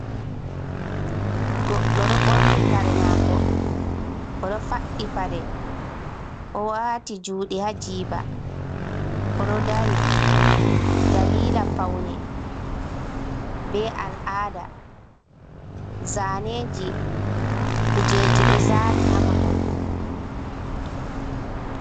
Goɗɗo ɗo ɓorni kare maako o ɗo faɗɗi paɗe o waati juuɗe haa jiiba o ɗo dari daliila pawne bee al'aada. Zaaneeji kujeeji ɗo zaani haa mahol.